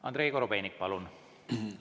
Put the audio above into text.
Andrei Korobeinik, palun!